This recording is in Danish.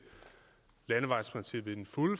landevejsprincip fuldt og